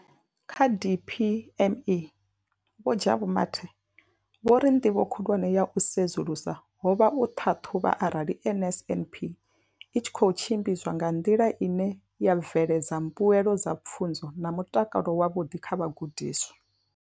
Kha DPME, Vho Jabu Mathe, vho ri nḓivho khulwane ya u sedzulusa ho vha u ṱhaṱhuvha arali NSNP i tshi khou tshimbidzwa nga nḓila ine ya bveledza mbuelo dza pfunzo na mutakalo wavhuḓi kha vhagudiswa.